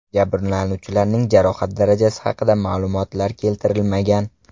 Jabrlanuvchilarning jarohat darajasi haqida ma’lumotlar keltirilmagan.